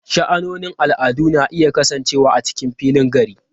Sha'anonin al'adu na iya kasancewa a cikin filin gari.